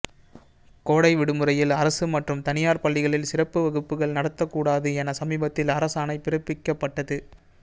கோடை விடுமுறையில் அரசு மற்றும் தனியார் பள்ளிகளில் சிறப்பு வகுப்புகள் நடத்த கூடாது என சமீபத்தில் அரசாணை பிறப்பிக்கப்பட்டது